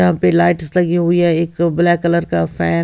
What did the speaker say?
यहाँ पे लाइट्स लगी हुई हैं एक ब्लैक कलर का फैन --